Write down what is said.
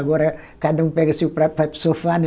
Agora, cada um pega seu prato, vai para o sofá, né?